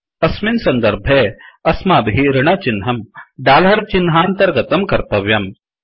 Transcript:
अस्मिन् सन्दर्भे अस्माभिः ऋणचिह्नं डालर् चिह्नान्तर्गतं कर्तव्यम्